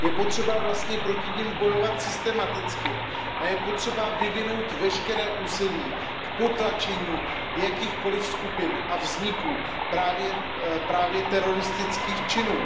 Je potřeba proti nim bojovat systematicky a je potřeba vyvinout veškeré úsilí k potlačení jakýchkoliv skupin a vzniku právě teroristických činů.